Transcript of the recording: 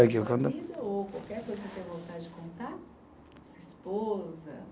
Sua vida ou qualquer coisa que o senhor tenha vontade de contar? Sua esposa